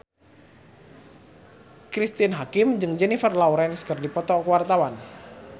Cristine Hakim jeung Jennifer Lawrence keur dipoto ku wartawan